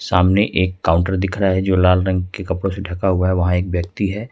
सामने एक काउंटर दिख रहा है जो लाल रंग के कपड़ों से ढका हुआ है वहां एक व्यक्ति है।